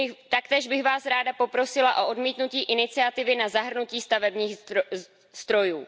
Taktéž bych Vás ráda poprosila o odmítnutí iniciativy na zahrnutí stavebních strojů.